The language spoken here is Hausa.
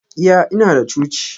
Iya, Inada coci.